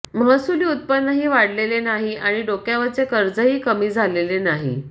महसूली उत्पन्नही वाढलेले नाही आणि डोक्यावरचे कर्जही कमी झालेले नाही